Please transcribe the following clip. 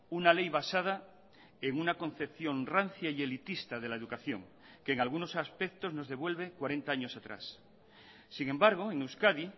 una ley basada en una concepción rancia y elitista de la educación que en algunos aspectos nos devuelve cuarenta años atrás sin embargo en euskadi